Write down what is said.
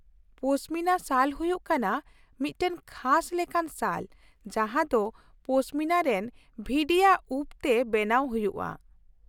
ᱯᱚᱥᱢᱤᱱᱟ ᱥᱟᱞ ᱦᱩᱭᱩᱜ ᱠᱟᱱᱟ ᱢᱤᱫᱴᱟᱝ ᱠᱷᱟᱥ ᱞᱮᱠᱟᱱ ᱥᱟᱞ ᱡᱟᱦᱟᱸ ᱫᱚ ᱯᱚᱥᱢᱤᱱᱟ ᱨᱮᱱ ᱵᱷᱤᱰᱤᱭᱟᱜ ᱩᱯ ᱛᱮ ᱵᱮᱱᱟᱣ ᱦᱩᱭᱩᱜᱼᱟ ᱾